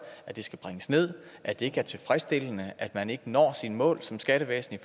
at det skal bringes ned at det ikke er tilfredsstillende at man ikke når sine mål som skattevæsen i